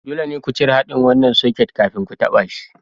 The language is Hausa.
Dole ne ku cire haɗin wannan soket kafin ku taɓa shi.